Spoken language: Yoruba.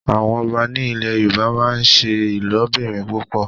àwọn ọba ní ilè yorùbá n'se ilobirin púpọ.